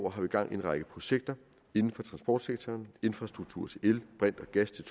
har vi gang i en række projekter inden for transportsektoren infrastruktur til el brint og gas til